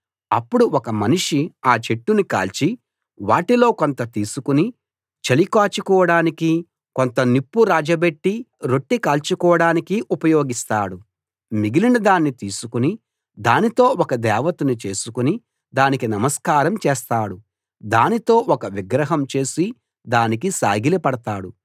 అప్పుడు ఒక మనిషి ఆ చెట్టుని కాల్చి వాటిలో కొంత తీసుకుని చలి కాచుకోడానికి కొంత నిప్పు రాజబెట్టి రొట్టె కాల్చుకోడానికి ఉపయోగిస్తాడు మిగిలినదాన్ని తీసుకుని దానితో ఒక దేవతను చేసుకుని దానికి నమస్కారం చేస్తాడు దానితో ఒక విగ్రహం చేసి దానికి సాగిలపడతాడు